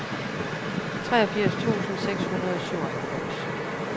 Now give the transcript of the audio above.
treogfirs tusind seks hundrede og syvoghalvfems